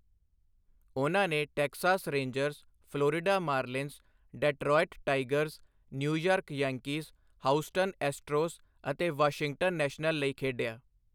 ਉਨ੍ਹਾਂ ਨੇ Texas Rangers, Florida Marlins, Detroit Tigers, New York Yankees, Houston Astros ਅਤੇ Washington National ਲਈ ਖੇਡਿਆ।